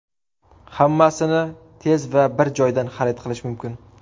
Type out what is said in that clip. Hammasini tez va bir joydan xarid qilish mumkin.